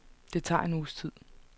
Det tager en uges tid.